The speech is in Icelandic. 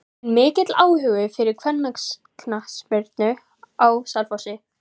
Er mikill áhugi fyrir kvennaknattspyrnu á Selfossi?